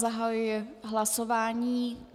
Zahajuji hlasování.